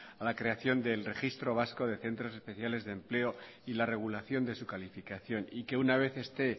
a la creación del registro vasco de centros especiales de empleo y la regulación de su calificación y que una vez esté